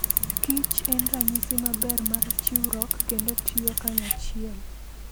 kich en ranyisi maber mar chiwruok kendo tiyo kanyachiel.